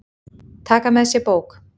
Taka með sér bók.